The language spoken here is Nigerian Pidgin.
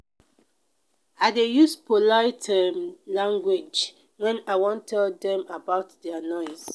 i dey use polite um language wen i wan tell dem about their noise.